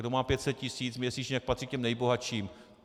Kdo má 500 tisíc měsíčně, tak patří k těm nejbohatším.